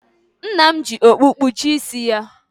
Nna m ji okpu kpuchie isi ya.